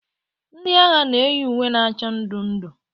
Ndị agha na-eyi uwe na acha ndụ ndụ.